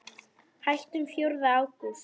Hættum fjórða ágúst.